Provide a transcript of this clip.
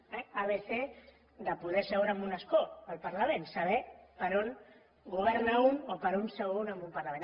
eh abecé de poder seure en un escó al parlament saber per on governa un o per on seu un en un parlament